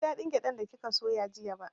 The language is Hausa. Ban ji da ɗin gyaɗan da kika soya jiya ba